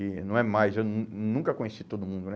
E não é mais, eu nun nunca conheci todo mundo, né?